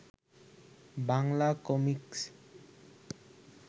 Bangla comics